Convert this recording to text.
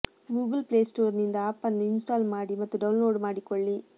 Google play store ನಿಂದ app ನ್ನು install ಮಾಡಿ ಮತ್ತು ಡೌನ್ ಲೋಡ್ ಮಾಡಿಕೊಳ್ಳಿ